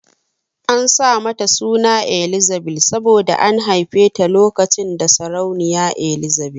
An sa mata suna Elzzabil saboda an haife ta lokacin da sarauniya Ezzabil